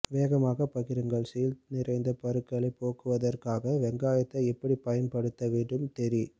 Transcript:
வேகமாக பகிருங்கள் சீழ் நிறைந்த பருக்களைப் போக்குவதற்காக வெங்காயத்தை எப்படி பயன் படுத்த வேண்டும் தெரி